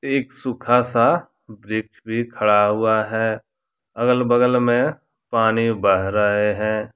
एक सुखा सा वृक्ष भी खड़ा हुआ है अगल बगल में पानी बह रहे हैं।